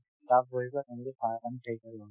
তাত বহি পেলাই তেওঁলোকে চাহ অকন খাই